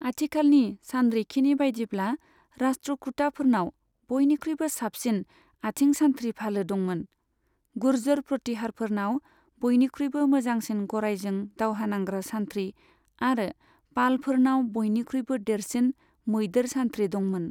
आथिखालनि सानरिखिनि बायदिब्ला, राष्ट्रकूटाफोरनाव बयनिख्रुइबो साबसिन आथिं सानथ्रि फालो दंमोन, गुर्जर प्रतिहारफोरनाव बयनिख्रुइबो मोजांसिन गरायजों दावहा नांग्रा सान्थ्रि आरो पालफोरनाव बयनिख्रुइबो देरसिन मैदेर सान्थ्रि दंमोन।